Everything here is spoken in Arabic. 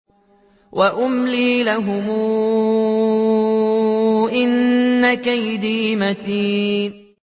وَأُمْلِي لَهُمْ ۚ إِنَّ كَيْدِي مَتِينٌ